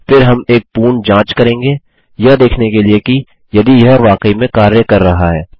फिर हम एक पूर्ण जाँच करेंगे यह देखने के लिए यदि यह वाकई में कार्य कर रहा है